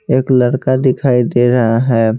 एक लड़का दिखाई दे रहा है।